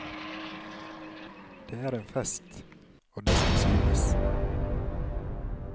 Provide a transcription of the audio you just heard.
Det er en fest, og det skal synes.